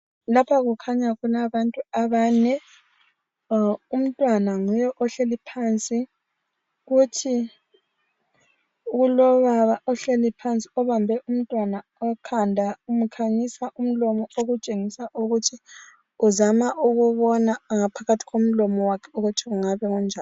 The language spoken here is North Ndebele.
Lapha kukhanya kulabantu abane. Umntwana nguye ohleli phansi. Kulobaba ohleli phansi obambe umntwana ikhanda umkhanyisa umlomo okutshengisa ukuthi uzama ukubona ngaphakathi komlomo wakhe ukuthi kungabe kunjani.